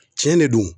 Tiɲɛ de don